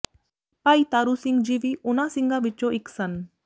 ਭਾਈ ਤਾਰੂ ਸਿੰਘ ਜੀ ਵੀ ਉਨਾਂ ਸਿੰਘਾਂ ਵਿੱਚੋਂ ਇੱਕ ਸਨ